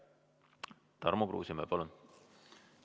Tarmo Kruusimäe, palun!